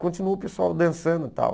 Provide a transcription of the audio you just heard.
Continuou o pessoal dançando e tal.